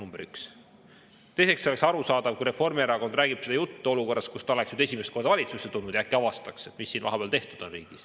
Teiseks, see oleks arusaadav, kui Reformierakond räägib seda juttu olukorras, kus ta oleks esimest korda valitsusse tulnud ja äkki avastaks, mis siin riigis vahepeal tehtud on.